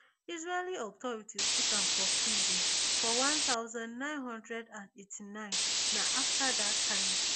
israeli authorities put am for prison for one thousand, nine hundred and eighty-nine na afta dat time